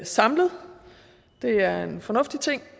samlet det er en fornuftig ting